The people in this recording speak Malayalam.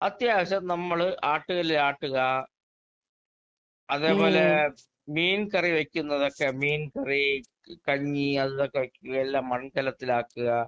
അത്യാവശ്യം നമ്മള് ആട്ടുകല്ലിൽ ആട്ടുക, അതേപോലെ മീൻകറി വെയ്ക്കുന്നതൊക്കെ മീൻകറി ക് കഞ്ഞി അതും ഇതൊക്കെ വെയ്ക്കുകയെല്ലാം മൺകലത്തിലാക്കുക.